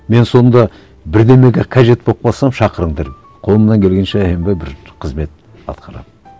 мен сонда бірдеңеге қажет болып қалсам шақырыңдар қолымнан келгенше аянбай бір қызмет атқарамын